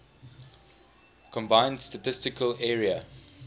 combined statistical area